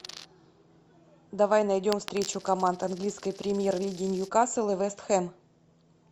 давай найдем встречу команд английской премьер лиги ньюкасл и вест хэм